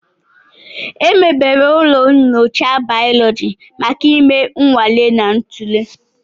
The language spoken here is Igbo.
Emebere ụlọ nyocha bayólóji maka ime nnwale na ntule